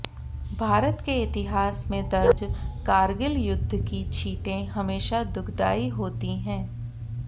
भारत के इतिहास में दर्ज कारगिल युद्ध की छीटें हमेशा दुखदायी होती हैं